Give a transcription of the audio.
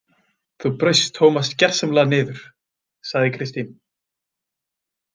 Þú braust Tómas gersamlega niður, sagði Kristín.